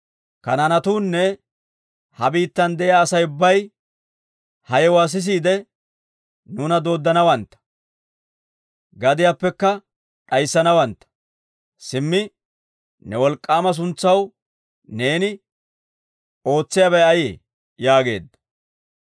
Kanaanetuunne ha biittan de'iyaa Asay ubbay ha yewuwaa sisiide, nuuna dooddanawantta; gadiyaappekka d'ayssanawantta. Simmi, ne wolk'k'aama suntsaw neeni ootsiyaabay ayee?» yaageedda.